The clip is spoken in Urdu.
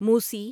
موسی